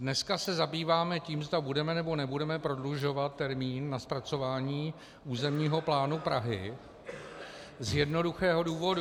Dneska se zabýváme tím, zda budeme, nebo nebudeme prodlužovat termín na zpracování územního plánu Prahy z jednoduchého důvodu.